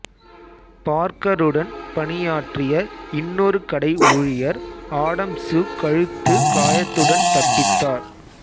பார்க்கருடன் பணியாற்றிய இன்னொரு கடை ஊழியர் ஆடம்சு கழுத்து காயத்துடன் தப்பித்தார்